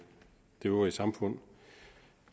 det øvrige samfund